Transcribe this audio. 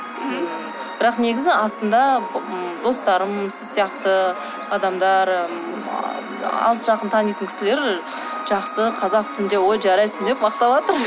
мхм бірақ негізі астында м достарым сіз сияқты адамдар м алыс жақын танитын кісілер жақсы қазақ тілінде ой жарайсың деп мақтаватыр